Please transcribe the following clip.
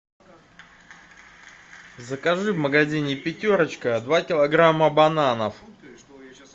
закажи в магазине пятерочка два килограмма бананов